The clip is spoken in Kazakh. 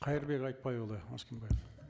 қайырбек айтбайұлы өскенбаев